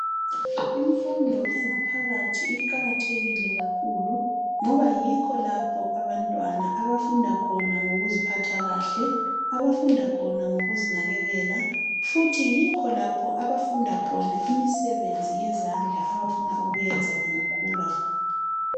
Imfundo engaphakathi iqakathekile kakhulu ngoba yikho lapho abantwana abafunda khona ngokuziphatha kuhle abafunda khona ngokuzinakekela futhi yikho lapho abafunda khona imisebenzi yezandla abafuna ukuyenza bengakhula.